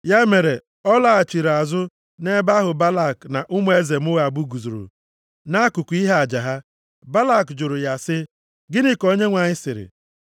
Ya mere, ọ lọghachiri azụ nʼebe ahụ Balak na ụmụ eze Moab guzoro nʼakụkụ ihe aja ha. Balak jụrụ ya sị, “Gịnị ka Onyenwe anyị sịrị?”